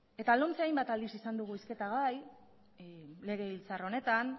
eta lomce hainbat aldiz izan dugu hizketa gai legebiltzar honetan